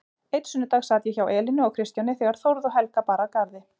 Einn sunnudag sat ég hjá Elínu og Kristjáni þegar Þórð og Helga bar að garði.